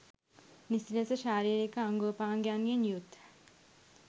නිසි ලෙස ශාරීරික අංගෝපාංගයන්ගෙන් යුත්